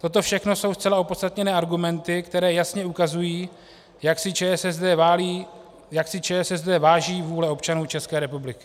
Toto všechno jsou zcela opodstatněné argumenty, které jasně ukazují, jak si ČSSD váží vůle občanů České republiky.